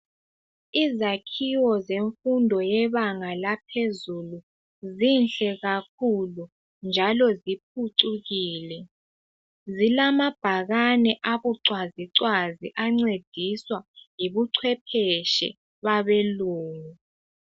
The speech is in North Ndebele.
Izakhiwo zemfundo yebanga laphezulu zinhle kakhulu njalo ziphucukile zilamabhakane abucwazicwazi ancediswa yibucwephetshi babelungu